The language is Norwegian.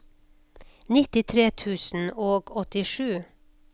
nittitre tusen og åttisju